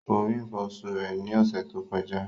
Kò rí nǹkan oṣù rẹ̀ ní ọ̀sẹ̀ tó kọjá